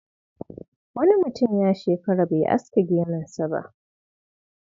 Wani mutum ya shekara bai aske gemunsa ba.